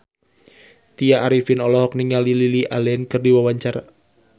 Tya Arifin olohok ningali Lily Allen keur diwawancara